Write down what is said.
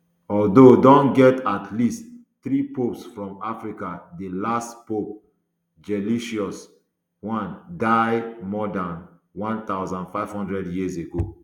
although don get at least three popes from africa di last pope gelasius i die more dan one thousand, five hundred years ago